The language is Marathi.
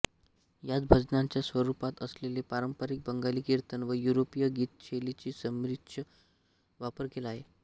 यात भजनांच्या स्वरूपात असलेले पारंपरिक बंगाली कीर्तन व युरोपीय गीतशैलींचा संमिश्र वापर केला आहे